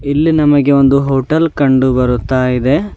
ಇಲ್ಲಿ ನಮಗೆ ಒಂದು ಹೋಟೆಲ್ ಕಂಡುಬರುತ್ತಾಯಿದೆ.